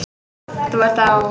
Þú ert þá.?